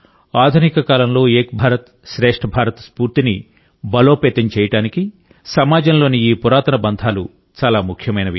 ఆధునిక కాలంలో ఏక్ భారత్ శ్రేష్ఠ భారత్ స్ఫూర్తిని బలోపేతం చేయడానికి సమాజంలోని ఈ పురాతన బంధాలు చాలా ముఖ్యమైనవి